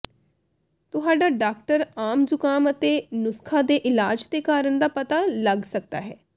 ਤੁਹਾਡਾ ਡਾਕਟਰ ਆਮ ਜ਼ੁਕਾਮ ਅਤੇ ਨੁਸਖ਼ਾ ਦੇ ਇਲਾਜ ਦੇ ਕਾਰਨ ਦਾ ਪਤਾ ਲੱਗ ਸਕਦਾ ਹੈ